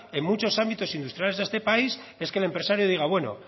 en muchos ámbitos industriales de este país es que el empresario diga bueno